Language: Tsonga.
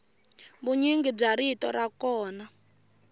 vunyingi bya rito ra kona